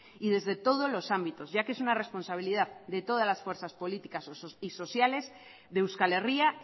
y desde todos los ámbitos ya que es una responsabilidad de todas las fuerzas políticas y sociales de euskal herria